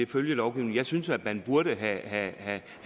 følgelovgivningen jeg synes at man burde have